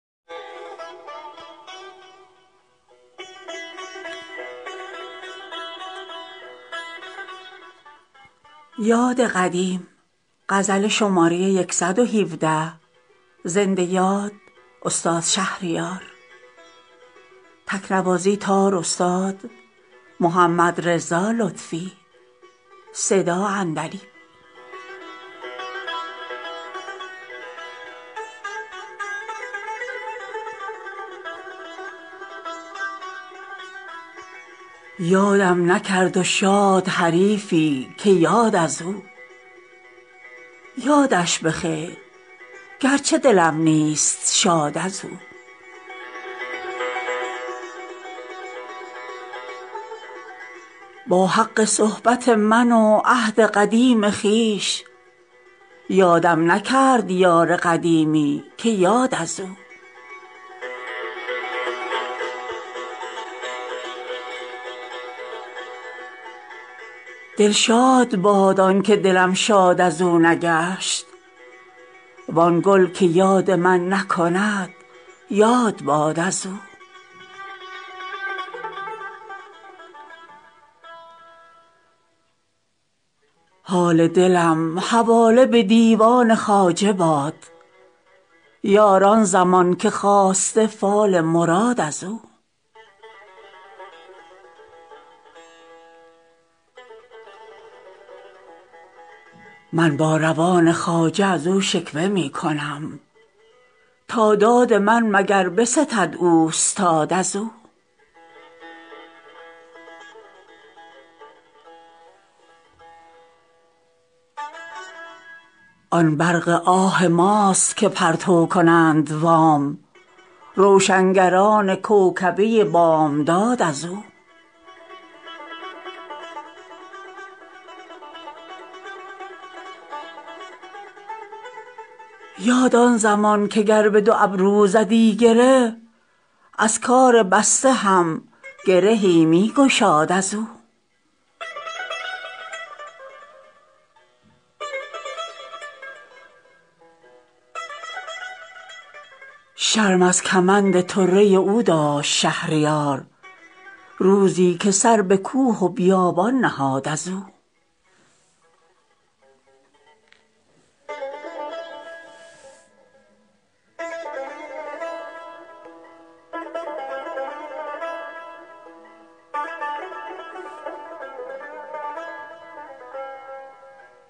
یادم نکرد و شاد حریفی که یاد از او یادش بخیر گرچه دلم نیست شاد از او با حق صحبت من و عهد قدیم خویش یادم نکرد یار قدیمی که یاد از او دلشاد باد آن که دلم شاد از اونگشت وان گل که یاد من نکند یاد باد از او از من به غیر آه به کیوان کجا رسد یارب کلاه گوشه به کیوان رساد از او با اعتماد دوست روا بود زیستن آوخ که سلب شد دگرم اعتماد از او حال دلم حواله به دیوان خواجه باد یار آن زمان که خواسته فال مراد از او من با روان خواجه از او شکوه میکنم تا داد من مگر بستد اوستاد از او آن برق آه ماست که پرتو کنند وام روشنگران کوکبه بامداد از او در روزگار خسرو دادار دادگر بیدادگر بتی ست بت من که داد از او یاد آن زمان که گر بدو ابرو زدیی گره از کار بسته هم گرهی میگشاد از او شرم از کمند طره او داشت شهریار روزی که سر به کوه و بیابان نهاد از او